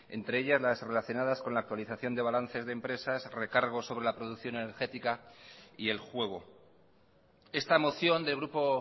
entre ellas las relacionadas con la actualización de balances de empresas recargos sobre la producción energética y el juego esta moción del grupo